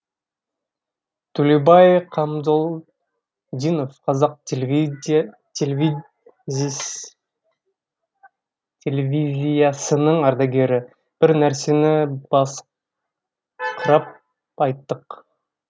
төлеубай қамзолдинов қазақ телевизиясының ардагері бір нәрсені басыңқырап айттық